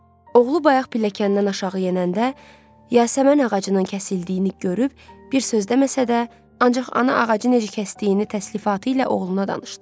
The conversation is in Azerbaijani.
Oğlu bayaq pilləkəndən aşağı yenəndə yasəmən ağacının kəsildiyini görüb bir söz deməsə də, ancaq ana ağacı necə kəsdiyini təslifatı ilə oğluna danışdı.